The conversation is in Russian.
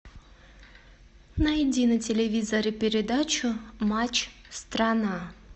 найди на телевизоре передачу матч страна